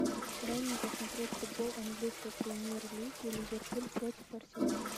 дай мне посмотреть футбол английской премьер лиги ливерпуль против арсенала